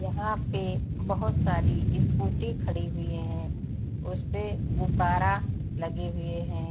यहाँ पे बहुत सारी स्कूटी खड़ी हुए है। उसपे गुब्बारा लगे हुए है।